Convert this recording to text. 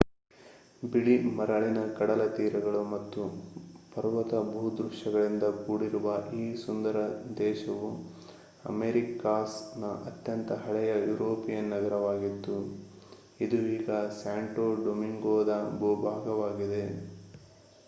ಬಿಳಿ ಮರಳಿನ ಕಡಲತೀರಗಳು ಮತ್ತು ಪರ್ವತ ಭೂದೃಶ್ಯಗಳಿಂದ ಕೂಡಿರುವ ಈ ಸುಂದರ ದೇಶವು ಅಮೆರಿಕಾಸ್‌ನ ಅತ್ಯಂತ ಹಳೆಯ ಯುರೋಪಿಯನ್ ನಗರವಾಗಿತ್ತು ಇದು ಈಗ ಸ್ಯಾಂಟೋ ಡೊಮಿಂಗೊದ ಭೂಭಾಗವಾಗಿದೆ